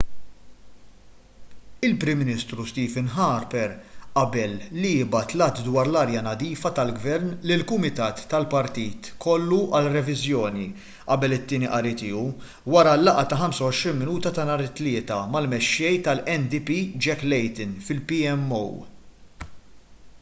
il-prim ministru stephen harper qabel li jibgħat l-att dwar l-arja nadifa tal-gvern lil kumitat tal-partit kollu għal reviżjoni qabel it-tieni qari tiegħu wara l-laqgħa ta' 25 minuta ta' nhar it-tlieta mal-mexxej tal-ndp jack layton fil-pmo